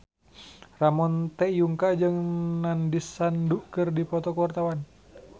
Ramon T. Yungka jeung Nandish Sandhu keur dipoto ku wartawan